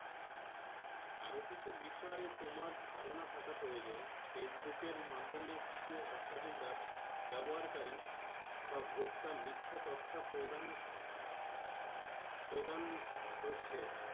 আরো কিছু বিষয় এ তোমার ধারণা থাকা প্রয়োজন Facebook এর মাধ্যমে কিছু অসাধু ব্যবস ব্যবহারকারি বা ভোক্তা মিথ্যা তথ্যা প্রদান প্রদান করছে।